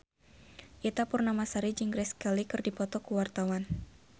Ita Purnamasari jeung Grace Kelly keur dipoto ku wartawan